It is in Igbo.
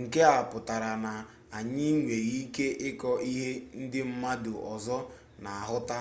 nke a pụtara na anyị nwere ike ịkọ ihe ndị mmadu ọzọ na-ahụta